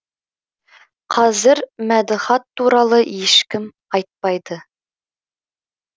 қазір мәдіхат туралы ешкім айтпайды